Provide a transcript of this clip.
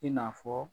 I n'a fɔ